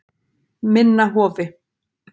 Minna Hofi